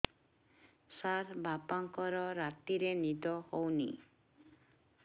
ସାର ବାପାଙ୍କର ରାତିରେ ନିଦ ହଉନି